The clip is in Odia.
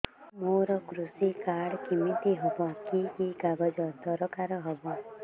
ମୋର କୃଷି କାର୍ଡ କିମିତି ହବ କି କି କାଗଜ ଦରକାର ହବ